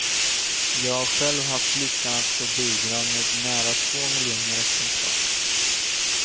Jag har själv haft lyckan att få bidra med nära två miljoner exemplar.